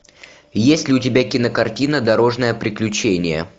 есть ли у тебя кинокартина дорожное приключение